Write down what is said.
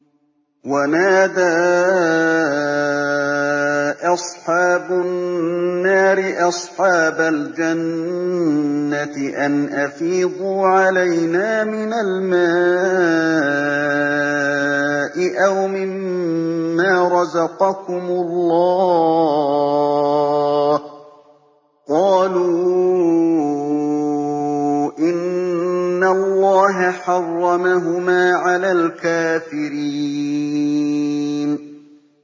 وَنَادَىٰ أَصْحَابُ النَّارِ أَصْحَابَ الْجَنَّةِ أَنْ أَفِيضُوا عَلَيْنَا مِنَ الْمَاءِ أَوْ مِمَّا رَزَقَكُمُ اللَّهُ ۚ قَالُوا إِنَّ اللَّهَ حَرَّمَهُمَا عَلَى الْكَافِرِينَ